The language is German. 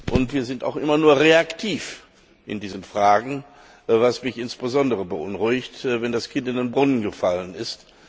Und wir sind auch immer nur reaktiv in diesen Fragen, was mich insbesondere beunruhigt, wenn das Kind bereits in den Brunnen gefallen ist.